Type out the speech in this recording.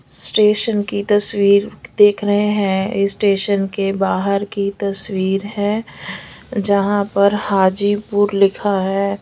Station की तस्वीर देख रहे हैं स्टेशन के बाहर की तस्वीर है जहां पर हाजीपुर लिखा है।